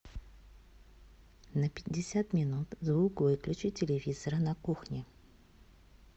на пятьдесят минут звук выключи телевизора на кухне